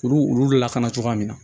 Kuru olu lakana cogoya min na